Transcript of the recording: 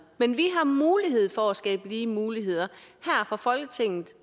men vi har mulighed for at skabe lige muligheder her fra folketinget